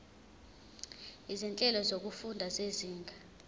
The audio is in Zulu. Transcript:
izinhlelo zokufunda zezinga